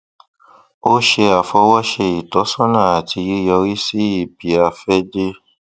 ó ṣe àfọwọṣe ìtọsọnà àti yíyọrísí ibiàfẹdé